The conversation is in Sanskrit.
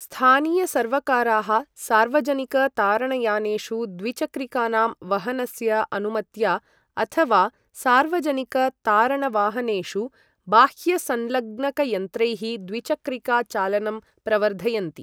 स्थानीयसर्वकाराः सार्वजनिक तारणयानेषु द्विचक्रिकानां वहनस्य अनुमत्या अथवा सार्वजनिक तारणवाहनेषु बाह्यसंलग्नकयन्त्रैः द्विचक्रिका चालनं प्रवर्धयन्ति।